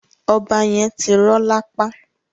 Ọba yẹn ti rọ lapa.